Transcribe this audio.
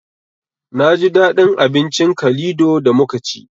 Naji daɗin abincin kalido da muka ci